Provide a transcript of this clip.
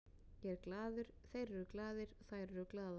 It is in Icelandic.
Ég er glaður, þeir eru glaðir, þær eru glaðar.